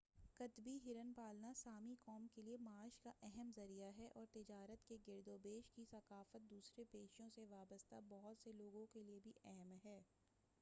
قطبی ہرن پالنا سامی قوم کے لئے معاش کا اہم ذریعہ ہے اور تجارت کے گرد و پیش کی ثقافت دوسرے پیشوں سے وابستہ بہت سے لوگوں کے لئے بھی اہم ہے